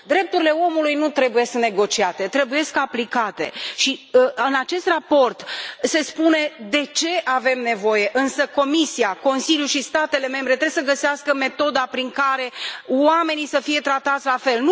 Drepturile omului nu trebuie negociate, trebuie aplicate și în acest raport se spune de ce avem nevoie, însă Comisia, Consiliul și statele membre trebuie să găsească metoda prin care oamenii să fie tratați la fel.